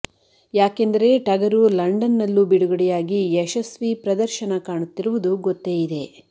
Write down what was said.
ಯಾಕೆಂದರೆ ಟಗರು ಲಂಡನ್ ನಲ್ಲೂ ಬಿಡುಗಡೆಯಾಗಿ ಯಶಸ್ವಿ ಪ್ರದರ್ಶನ ಕಾಣುತ್ತಿರುವುದು ಗೊತ್ತೇ ಇದೆ